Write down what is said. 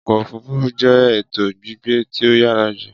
Ọkọ òfurufú jẹ eto gbígbé ti o yára jù